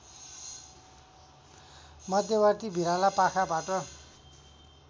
मध्यवर्ती भिराला पाखाबाट